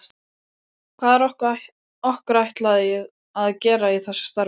Hvað er okkur ætlað að gera í þessu starfi?